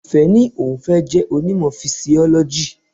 Ìfẹ́ ní òun fẹ́ jẹ́ onímọ̀ Fisiọ́lọ́jì.